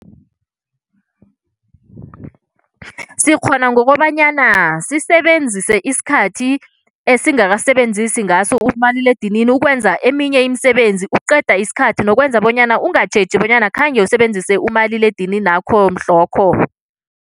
Sikghona ngokobanyana sisebenzise isikhathi esingakasebenzisi ngaso umaliledinini ukwenza eminye imisebenzi ukuqeda isikhathi nokwenza bonyana ungatjheji bonyana khange usebenzise umaliledininakho mhlokho.